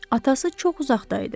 Atası çox uzaqda idi.